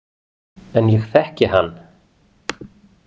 En ég þekki hann.